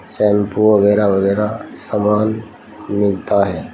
Shampoo वगैरह वगैरह समान मिलता है।